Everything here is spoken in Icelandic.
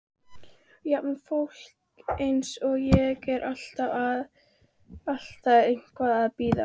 Jafnvel fólk eins og ég er alltaf eitthvað að bíða.